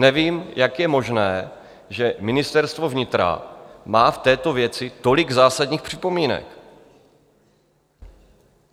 Nevím, jak je možné, že Ministerstvo vnitra má v této věci tolik zásadních připomínek.